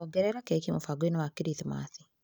Ongerera keki mũbango-inĩ wa krithimathi.